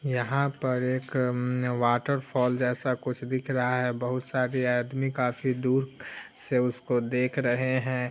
यहाँ पर एक मम वाटर फॉल जैसा कुछ दिख रहा है बहुत सारी आदमी काफी दूर से उसको देख रहे हैं।